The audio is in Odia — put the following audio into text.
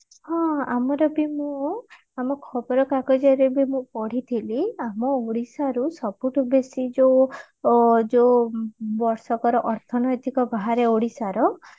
ହଁ ଆମର ବି ମୁଁ ଆମ ଖବର କାଗଜରେ ବି ମୁଁ ପଢିଥିଲି ଆମ ଓଡିଶାରୁ ସବୁଠୁ ବେଶି ଯୋଉ ଅ ଯୋଉ ବର୍ଷକର ଅର୍ଥନୈତିକ ବାହାରେ ଓଡିଶାର